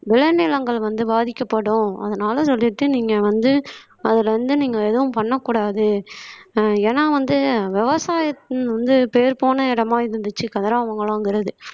விளைநிலங்கள் வந்து பாதிக்கப்படும் அதனால சொல்லிட்டு நீங்க வந்து அதுல இருந்து நீங்க எதுவும் பண்ணக் கூடாது ஏன்னா வந்து விவசாயம் வந்து பேர் போன இடமா இருந்துச்சு கதிராமங்கலங்கிறது